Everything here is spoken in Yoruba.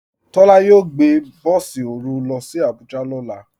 Tola yóò gbẹ̀ bọ̀sì orú ló sì Àbújà lọ́lá.